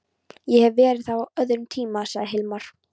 Ég hef verið þar á öðrum tíma, sagði Hilmar.